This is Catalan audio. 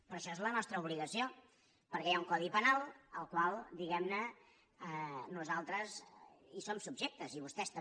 però això és la nostra obligació perquè hi ha un codi penal al qual diguem·ne nosal·tres som subjectes i vostès també